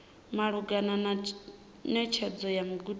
malugana na netshedzo ya mudagasi